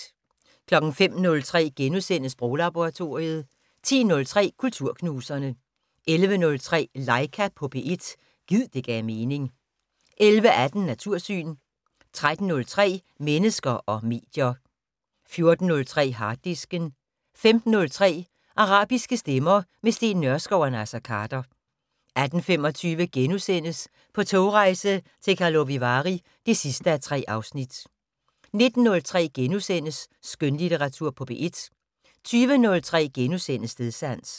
05:03: Sproglaboratoriet * 10:03: Kulturknuserne 11:03: Laika på P1 - gid det gav mening 11:18: Natursyn 13:03: Mennesker og medier 14:03: Harddisken 15:03: Arabiske stemmer - med Steen Nørskov og Naser Khader 18:25: På togrejse til Karlovy Vary (3:3)* 19:03: Skønlitteratur på P1 * 20:03: Stedsans *